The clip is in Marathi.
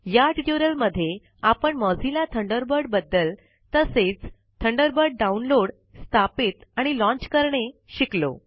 या ट्यूटोरियल मध्ये आपण मोझिल्ला थंडरबर्ड बद्दल तसेच थंडरबर्ड डाउनलोड स्थापित आणि लॉन्च करणे शिकलो